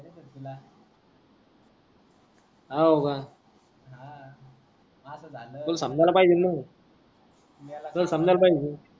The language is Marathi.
हाओका हा अस झाला तुला समजाला पायजे ना तू मेला का तूला समजाला पायजे